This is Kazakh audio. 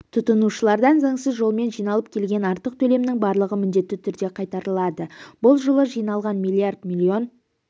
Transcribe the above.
тұтынушылардан заңсыз жолмен жиналып келген артық төлемнің барлығы міндетті түрде қайтарылады бұл жылы жиналған миллиард миллион